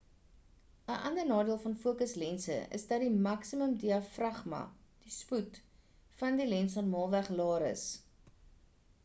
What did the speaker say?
‘n ander nadeel van fokuslense is dat die maksimum diafragma die spoed van die lens normaalweg laer is